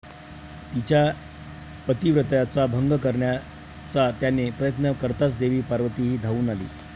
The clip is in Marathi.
तिच्या पतीव्रत्याचा भंग करण्याचा त्याने प्रयत्न कर्ताच देवी पार्वती ही धावून आली.